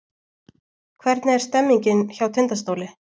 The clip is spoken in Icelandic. Hvernig er stemningin hjá Tindastóli?